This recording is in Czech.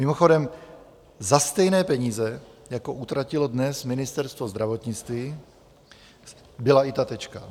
Mimochodem, za stejné peníze, jako utratilo dnes Ministerstvo zdravotnictví, byla i ta Tečka.